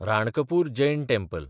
Ranakpur Jain temple